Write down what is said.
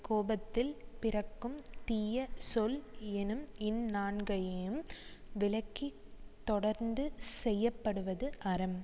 கோபத்தில் பிறக்கும் தீய சொல் எனும் இந்நான்கையும் விலக்கித் தொடர்ந்து செய்ய படுவது அறம்